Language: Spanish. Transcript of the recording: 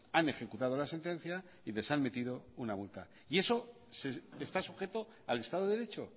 han ejecutado la sentencia y les han metido una multa y eso está sujeto al estado de derecho